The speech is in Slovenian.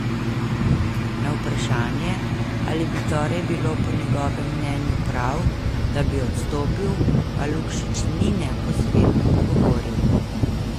Na vprašanje, ali bi torej bilo po njegovem mnenju prav, da bi odstopil, pa Lukšič ni neposredno odgovoril.